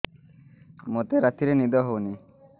ମୋତେ ରାତିରେ ନିଦ ହେଉନି